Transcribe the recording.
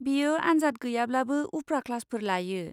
बियो आनजाद गैयाब्लाबो उफ्रा क्लासफोर लायो।